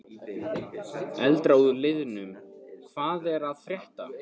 Eldra úr liðnum Hvað er að frétta?